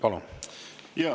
Palun!